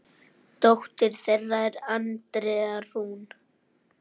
Dóttir þeirra er Andrea Rún.